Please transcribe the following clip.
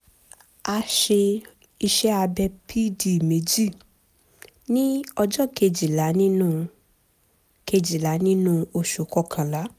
a ṣe iṣẹ́ abẹ pd méjì ní ọjọ́ kejìlá nínú kejìlá nínú oṣù kọkànlá